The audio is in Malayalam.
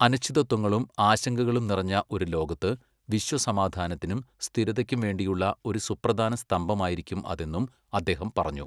അനിശ്ചിതത്വങ്ങളും, ആശങ്കകളും നിറഞ്ഞ ഒരു ലോകത്ത് വിശ്വസമാധാനത്തിനും, സ്ഥിരതയ്ക്കും വേണ്ടിയുള്ള ഒരു സുപ്രധാന സ്തംഭമായിരിക്കും അതെന്നും അദ്ദേഹം പറഞ്ഞു.